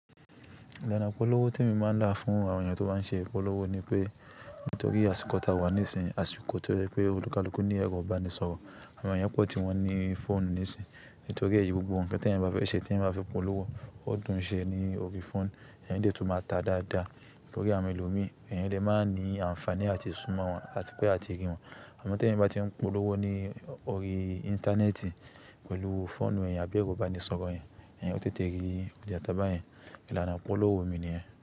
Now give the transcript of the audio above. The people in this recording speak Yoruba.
Ìlànà ìpolówó tí èmi máa ń là fún àwọn ènìyàn tó bá ń ṣe ìpolówó ni pé nítorí àsìkò tá a wà níìsínyi, àsìkò tó jẹ́ pé olúkalúkú ní ẹrò ibánisọ̀rọ̀, àwọn ènìyàn pọ̀ tí wọ́n ní fóònù níìsínyi nítorí ẹyí gbogbo nnkan téẹ̀yan bá fẹ́ ṣe tí ẹ̀eyan bá fẹ́ polówó ó dùn ún ṣe ní orí fóònù, ẹ̀eyan dè tún máa ta dáadáa. Nítorí àwọn ẹlòmíràn ẹ̀eyen lè máa ní àǹfààní àti súnmọ́ wọn àti pé àti rí wọn. Àmọ́ tí ẹ̀yin bá tí ń polówó ní orí íńtánẹ́ẹ̀tì pẹ̀lú fóònù ẹ̀eyan àbí ẹró ibánisọ̀rọ̀ yen, ẹ̀eyan ó tètè rí iyáto báyẹn. Ìlànà ìpolówó mi ni niyẹ́n.